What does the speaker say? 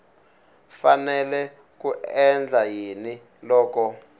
fanele ku endla yini loko